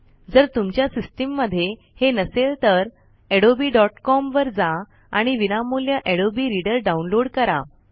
जर तुमच्या सिस्टम मध्ये हे नसेल तर adobeकॉम वर जा आणि विनामूल्य अडोबे रीडर डाउनलोड करा